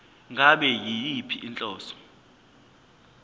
ngabe yiyiphi inhlobo